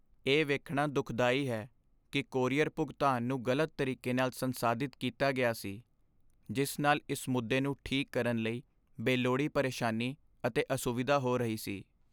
ਇਹ ਵੇਖਣਾ ਦੁਖਦਾਈ ਹੈ ਕਿ ਕੋਰੀਅਰ ਭੁਗਤਾਨ ਨੂੰ ਗ਼ਲਤ ਤਰੀਕੇ ਨਾਲ ਸੰਸਾਧਿਤ ਕੀਤਾ ਗਿਆ ਸੀ, ਜਿਸ ਨਾਲ ਇਸ ਮੁੱਦੇ ਨੂੰ ਠੀਕ ਕਰਨ ਲਈ ਬੇਲੋੜੀ ਪਰੇਸ਼ਾਨੀ ਅਤੇ ਅਸੁਵਿਧਾ ਹੋ ਰਹੀ ਸੀ।